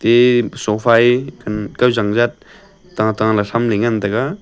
eh sofa e than kaw jang jat tata la tham ley ngan taga.